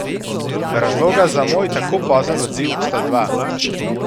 Razloga za moj tako pozen odziv sta dva.